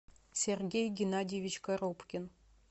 сергей геннадьевич коробкин